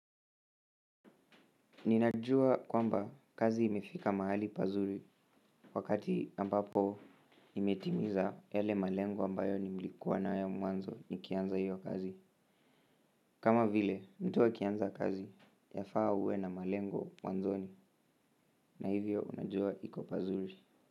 Ninajua kwamba kazi imefika mahali pazuri wakati ambapo imetimiza yale malengo ambayo nilikuwa nayo mwanzo nikianza hiyo kazi. Kama vile, mtu akianza kazi, yafaa uwe na malengo mwanzoni na hivyo unajua iko pazuri.